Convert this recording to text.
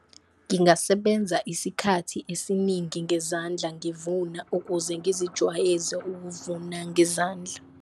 Ngingasebenza isikhathi esiningi ngezandla ngiyivuna ukuze ngizijwayeze ukuvuna ngezandla.